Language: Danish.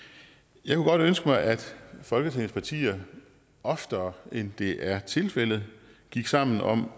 jeg kunne godt ønske at folketingets partier oftere end det er tilfældet gik sammen om